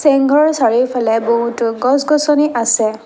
চেং ঘৰৰ চাৰিওফালে বহুতো গছ গছনি আছে।